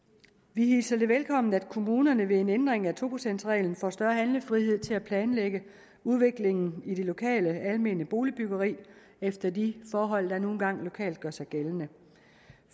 vi hilser det velkommen at kommunerne ved en ændring af to procentsreglen får større handlefrihed til at planlægge udviklingen i det lokale almene boligbyggeri efter de forhold der nu engang lokalt gør sig gældende